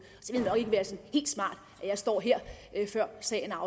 så jeg står her før sagen er